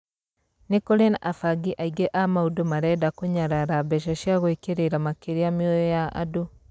Nĩ kũrĩ na abangi aingĩ a maũndũ marenda kũnyarara mbeca na gũĩkĩrĩra makirĩa mĩoyo ya andũ?